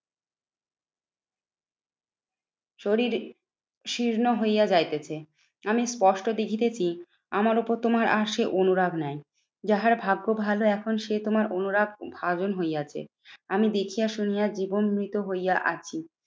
শরীর শীর্ণ হইয়া যাইতেছে। আমি স্পষ্ট দেখিতেছি আমার ওপর তোমার আর সে অনুরাগ নাই। যাহার ভাগ্য ভালো এখন সে তোমার অনুরাগ ভাজন হইয়াছে। আমি দেখিয়া শুনিয়া জীবন মৃত হইয়া আছি।